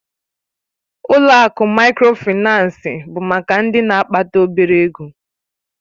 Ụlọ akụ Mikrofaịnsi bụ maka ndị na-akpata obere ego